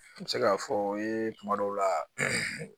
N bɛ se k'a fɔ ye kuma dɔw la